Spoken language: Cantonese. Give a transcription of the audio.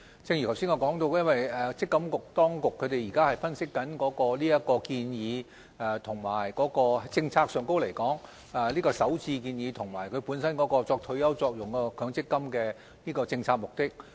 正如我剛才所說，積金局正在分析這項建議，以及在政策上來說，這項首置建議與本身有退休保障作用的強積金的政策目的。